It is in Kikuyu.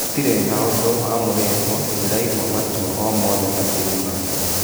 Gũtirĩ na ũndũ wamũrĩ two, ndĩ raigua matua o mothe matũini make.